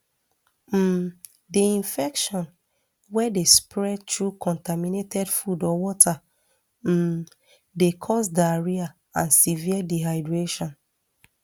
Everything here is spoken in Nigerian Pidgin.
um di infection wey dey spread through contaminated food or water um dey cause diarrhoea and severe dehydration